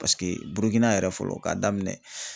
Burukina yɛrɛ fɔlɔ k'a daminɛ